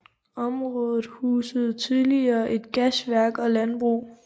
Området husede tidligere et gasværk og landbrug